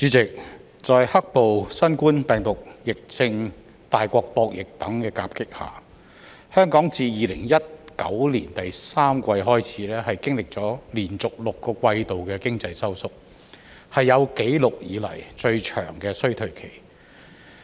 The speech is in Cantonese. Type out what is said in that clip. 主席，在"黑暴"、新冠病毒疫症、大國博弈等因素夾擊下，香港自2019年第三季開始，經歷了連續6個季度的經濟收縮，是有紀錄以來最長的衰退期。